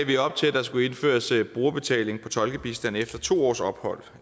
vi op til at der skulle indføres brugerbetaling på tolkebistand efter to års ophold